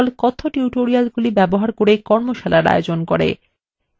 কথ্য টিউটোরিয়ালগুলি ব্যবহার করে কর্মশালার আয়োজন করে